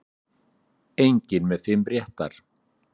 Enginn með fimm réttar